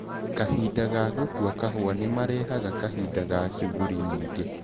Kahinda ka gũtua kahũa nĩmarehaga kahinda ga cuguri nyingĩ.